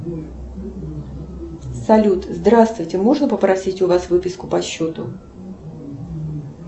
салют здравствуйте можно попросить у вас выписку по счету